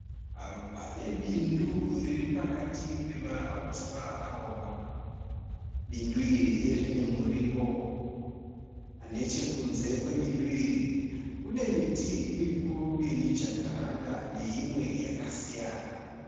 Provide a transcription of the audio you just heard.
Pane bindu riri pakati pemauswa akaoma. Bindu iri rine muriwo. Nechekunze kwebindu iri kune miti mikuru yemijakaranda neimwe yakasiyana